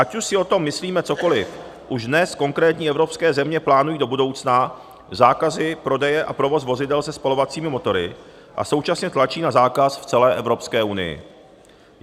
Ať už si o tom myslíme cokoli, už dnes konkrétní evropské země plánují do budoucna zákazy prodeje a provozu vozidel se spalovacími motory a současně tlačí na zákaz v celé Evropské unii.